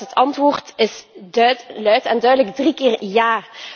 Ik denk dat het antwoord is luid en duidelijk drie keer ja.